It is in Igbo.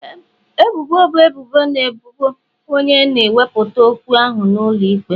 Ebubo bụ ebubo na ebubo onye na-ewepụta okwu ahụ n'ụlọ ikpe.